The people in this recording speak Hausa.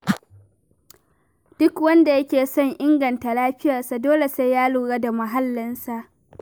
Duk wanda yake son inganta lafiyarsa, dole sai ya lura da muhallinsa.